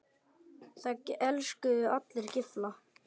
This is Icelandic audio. Það elskuðu allir Gylfa.